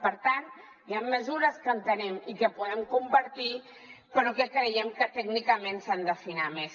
per tant hi han mesures que entenem i que podem compartir però que creiem que tècnicament s’han d’afinar més